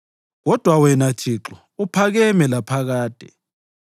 Kodwa wena Thixo, uphakeme laphakade.